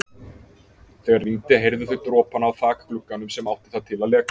Þegar rigndi heyrðu þau dropana á þakglugganum sem átti það til að leka.